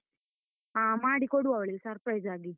ಹಾ ಮಾಡಿ ಕೊಡುವ ಅವಳಿಗೆ, surprise ಆಗಿ.